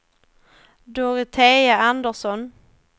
Dorotea Andreasson